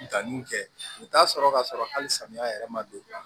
Danniw kɛ u bɛ t'a sɔrɔ ka sɔrɔ hali samiya yɛrɛ ma don